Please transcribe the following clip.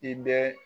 I bɛ